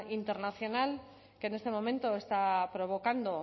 internacional que en este momento está provocando